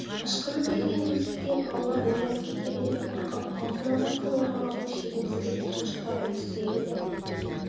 ышқынып келген өксіктен балалар оянып кете ме деп қорқып аузына басқан орамалдың шетін тістеп тұншыға үнсіз егілді